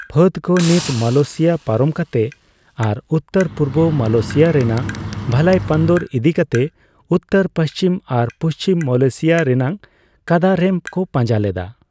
ᱯᱷᱟᱹᱫᱽᱠᱚ ᱱᱤᱛ ᱢᱟᱞᱚᱭᱮᱥᱤᱭᱟ ᱯᱟᱨᱚᱢ ᱠᱟᱛᱮ ᱟᱨ ᱩᱛᱛᱚᱨᱼᱯᱩᱨᱵᱚ ᱢᱟᱞᱚᱭᱮᱥᱤᱟ ᱨᱮᱱᱟᱜ ᱵᱷᱟᱞᱟᱭᱯᱟᱱᱫᱩᱨ ᱤᱫᱤ ᱠᱟᱛᱮ, ᱩᱛᱛᱚᱨᱼᱯᱩᱪᱷᱤᱢ ᱟᱨ ᱯᱩᱪᱷᱤᱢ ᱢᱟᱞᱚᱭᱮᱥᱤᱭᱟ ᱨᱮᱱᱟᱜ ᱠᱟᱫᱟᱨᱮᱢ ᱠᱚ ᱯᱟᱸᱡᱟ ᱞᱮᱫᱟ ᱾